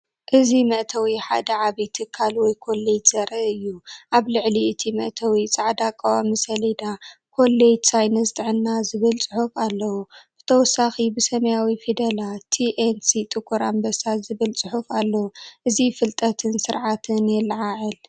እዚ መእተዊ ሓደ ዓቢይ ትካል ወይ ኮለጅ ዘርኢ እዩ። ኣብ ልዕሊ እቲ መእተዊ ጻዕዳ ቀዋሚ ሰሌዳ "ኮሌጅ ሳይንስ ጥዕና" ዝብል ጽሑፍ ኣለዎ። ብተወሳኺ ብሰማያዊ ፊደላት "T&C ጥቁር ኣንበሳ" ዝብል ጽሑፍ ኣሎ። እዚ ፍልጠትን ስርዓትን የለዓዕል።